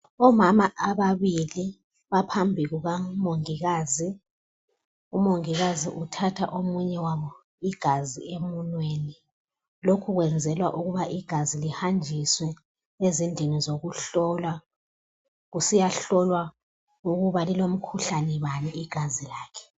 Omama ababili baphambi kukamongikazi, umongikazi uthatha omunye wabo igazi emunweni, lokhu kwenzelwa ukuba igazi lihanjiswe ezindlini zokuhlola, kusiyahlolwa ukuba lilomkhuhlane bani igazi lakhe.